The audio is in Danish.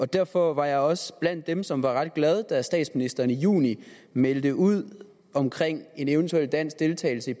derfor var jeg også blandt dem som var ret glade da statsministeren i juni meldte ud omkring en eventuel dansk deltagelse i